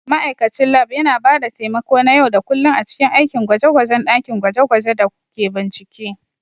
Ma'aikacin Lab yana ba da taimako na yau da kullun a cikin aikin gwaje-gwajen dakin gwaje-gwaje da/ko bincike.